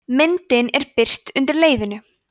myndin er birt undir leyfinu